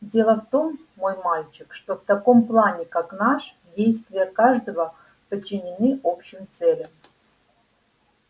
дело в том мой мальчик что в таком плане как наш действия каждого подчинены общим целям